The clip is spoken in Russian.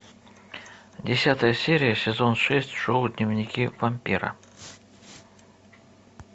десятая серия сезон шесть шоу дневники вампира